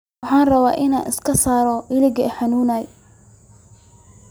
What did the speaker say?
Waxan rawaa inan iskasaro iiliki ixanunay.